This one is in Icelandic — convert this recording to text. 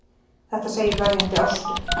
Þetta segir verjandi Ástu.